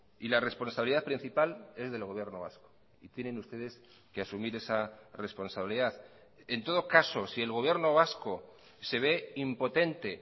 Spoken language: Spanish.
y la responsabilidad principal es del gobierno vasco y tienen ustedes que asumir esa responsabilidad en todo caso si el gobierno vasco se ve impotente